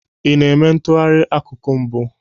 Ị na-eme ntụgharị akuku mbụ?